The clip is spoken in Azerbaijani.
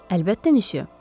Əlbəttə, myusyo.